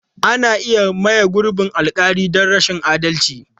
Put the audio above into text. Ana iya maye gurbin alƙali don rashin adalci.